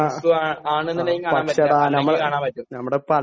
...ഫ്രാൻസും ആണെന്നുണ്ടെങ്കിൽ കാണാൻ പറ്റില്ല, അല്ലെങ്കിൽ കാണാൻ പറ്റും.